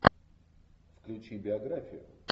включи биографию